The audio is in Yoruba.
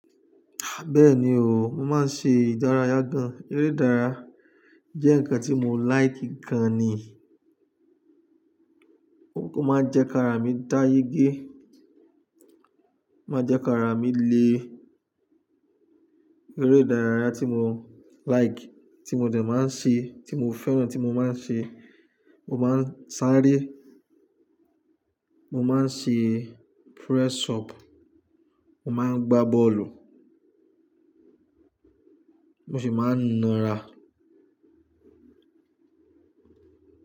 Bẹ́ẹ̀ni o, mo máa ń ṣe ìdárayá gan. Eré ìdárayá jẹ́ nǹkan tí mo like gan ni. Ó máa ń jẹ́ kí ara mi dá yí gé. Máa jẹ́ kí ara mi le. Eré ìdárayá tí mo like, tí mo dẹ̀ máa ń ṣe, tí mo fẹ́ràn, tí mo máa ń ṣe, mo máa ń sáré, mo máa ń ṣe press up, mo máa ń gbá bọ́ọ̀lù, mo sì máa ń ná ra.